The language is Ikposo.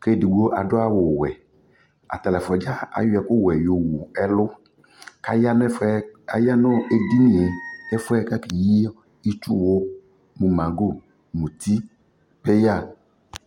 kʋ edigbo adʋ awʋ sɛ Atanι ɛfua dza ayɔ ɛkʋ wɛ yowu ɛlʋ kʋ aya nʋ ɛfɔɛ aya nʋ edini yɛ ɛfuɛ kakeyi itsuwʋ nʋ mango, mʋti, peya